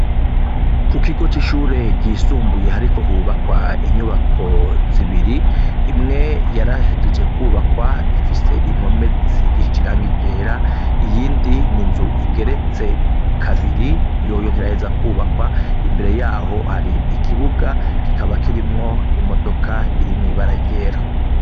Ku kigo c'ishure ryisumbuye hariko hubakwa inyubako zibiri , imwe yarahejeje kwubakwa ifise impome zisigishije irangi ryera iyindi n'inzu igeretse kabiri yoyo ntiraheza kwubakwa, imbere yaho hari ikibuga kikaba kirimwo imodoka iri mw'ibara ryera.